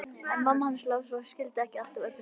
En mamma hans Lása skildi ekki alltaf Öbbu hina.